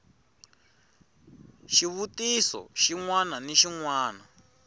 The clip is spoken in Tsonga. xivutiso xin wana ni xin